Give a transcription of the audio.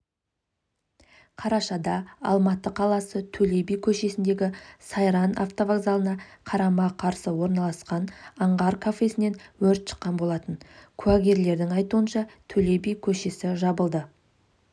қарашада алматы қаласы төле би көшесіндегі сайран автовокзалына қарама-қарсы орналасқан аңғар кафесінен өрт шыққан болатын кәугерлердің айтуынша төле би көшесі жабылды